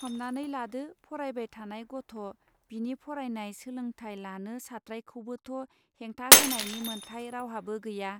हमनानै लादो फरायबाय थानाय गथ' बिनि फरायनाय सोलोंथाय लानो सात्रायखौबोथ' हेंथा होनायनि मोनथाय रावहाबो गैया.